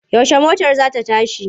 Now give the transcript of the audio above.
Yaushe motar za ta tashi?